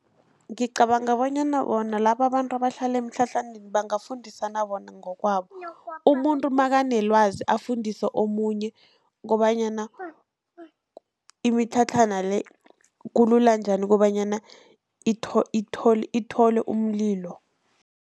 Ngicabanga bonyana bona lababantu abahlala emitlhatlhaneni bangafundisana bona ngokwabo, umuntu nakanelwazi afundise omunye kobanyana imitlhatlhana le kulula njani kobanyana ithole umlilo.